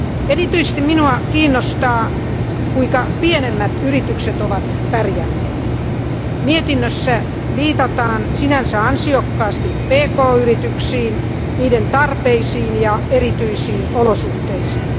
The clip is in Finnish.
Erityisesti minua kiinnostaa, kuinka pienemmät yritykset ovat pärjänneet. Mietinnössä viitataan sinänsä ansiokkaasti pk yrityksiin, niiden tarpeisiin ja erityisiin olosuhteisiin.